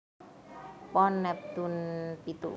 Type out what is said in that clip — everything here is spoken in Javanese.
Pon neptune pitu